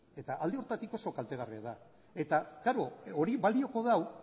eta alde horretatik oso kaltegarria da eta klaro horrek balioko du